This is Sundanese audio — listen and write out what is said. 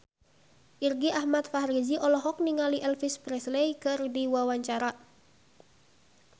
Irgi Ahmad Fahrezi olohok ningali Elvis Presley keur diwawancara